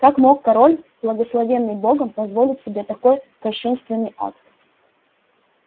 как мог король благословенный богом позволить себе такой кощунственный акт